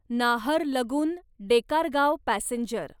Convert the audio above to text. Naharlagun Dekargaon passenger